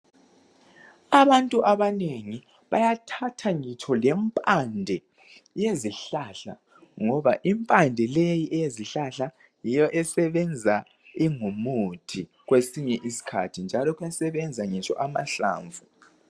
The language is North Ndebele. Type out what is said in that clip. Abantu abanengi bayathatha ngitsho lempande yezihlahla ngoba impande leyi eyezihlahla yiyo esebenza ingumuthi kwesinye isikhathi, njalo kuyasebenza ngitsho amahlamvu.